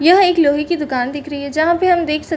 यह एक लोहै की दुकान दिख रही है जहाँ पे हम देख सकते --